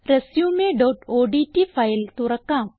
resumeഓഡ്റ്റ് file തുറക്കാം